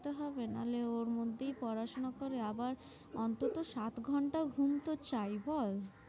করতে হবে নালে ওর মধ্যেই পড়াশুনা করে আবার অন্তত সাত ঘন্টা ঘুম তো চাই বল।